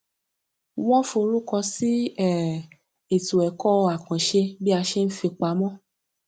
wọn forúkọ sí um ètò ẹkọ àkànṣe bí a ṣe ń fipamọ